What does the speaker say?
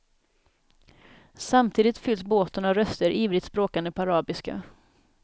Samtidigt fylls båten av röster ivrigt språkande på arabiska.